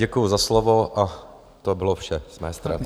Děkuji za slovo a to bylo vše z mé strany.